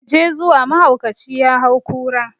mu je zuwa mahaukaci ya hau kura